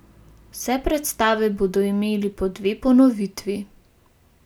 Vse predstave bodo imele po dve ponovitvi.